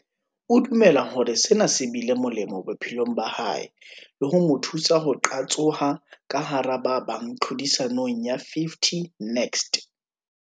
O dumela hore sena se bile molemo bophelong ba hae le ho mo thusa ho qatsoha ka hara ba bang tlhodisanong ya 50 Next.